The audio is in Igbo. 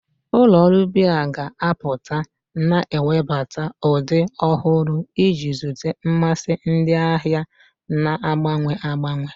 Ụlọ ọrụ biya ga-apụta, na-ewebata ụdị ọhụrụ iji zute mmasị ndị ahịa na-agbanwe agbanwe.